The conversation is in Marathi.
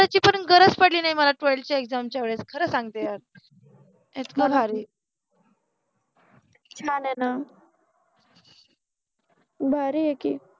मनुन गरज पडलि नाहि मला ट्वेल्थ च्या एग्जाम च्या वेळेस खर सांगते यार इतक भारि भारि आहे कि